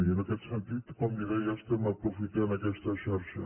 i en aquest sentit com li deia estem aprofitant aquesta xarxa